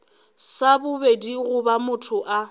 sa bobedi goba motho a